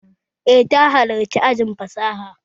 Eh, ta halarci ajin fasaha